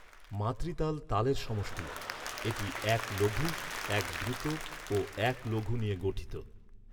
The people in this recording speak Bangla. মাতৃতাল তালের সমষ্টি। এটি এক লঘু, এক দ্রুত ও এক লঘু নিয়ে গঠিত।